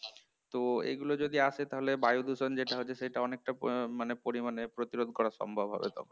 তো এগুলো যদি আসে তাহলে বায়ুদূষণ যেটা হচ্ছে সেইটা অনেকটা আহ মানে পরিমাণে প্রতিরোধ করা সম্ভব হবে তখন